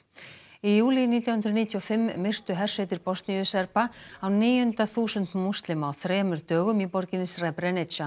í júlí nítján hundruð níutíu og fimm myrtu hersveitir Bosníu Serba á níunda þúsund múslima á þremur dögum í borginni